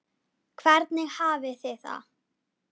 Hvernig hafið þið það?